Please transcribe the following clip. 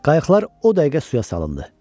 Qayıqlar o dəqiqə suya salındı.